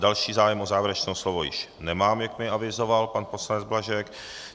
Další zájem o závěrečné slovo již nemám, jak mi avizoval pan poslanec Blažek.